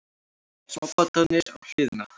Smábátarnir á hliðina.